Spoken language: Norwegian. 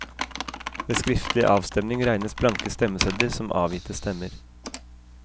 Ved skriftlig avstemning regnes blanke stemmesedler som avgitte stemmer.